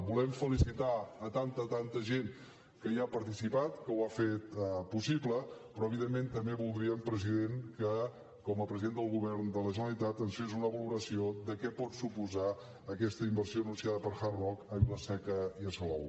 volem felicitar tanta tanta gent que hi ha participat que ho ha fet possible però evidentment també voldríem president que com a president del govern de la generalitat ens fes una valoració de què pot suposar aquesta inversió anunciada per hard rock a vila seca i a salou